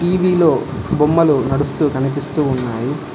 TV లో బొమ్మలు నడుస్తూ కనిపిస్తూ ఉన్నాయి.